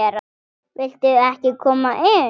Viltu ekki koma inn?